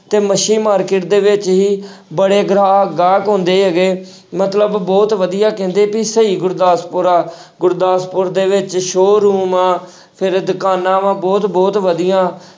ਤੇ ਮੱਛੀ market ਦੇ ਵਿੱਚ ਜੀ ਬੜੇ ਗ੍ਰਾਹਕ ਗਾਹਕ ਆਉਂਦੇ ਹੈਗੇ ਮਤਲਬ ਬਹੁਤ ਵਧੀਆ ਕਹਿੰਦੇ ਵੀ ਸਹੀ ਗੁਰਦਾਸਪੁਰ ਆ ਗੁਰਦਾਸਪੁਰ ਦੇ ਵਿੱਚ showroom ਆਂ ਫਿਰ ਦੁਕਾਨਾਂ ਵਾ ਬਹੁਤ ਬਹੁਤ ਵਧੀਆ।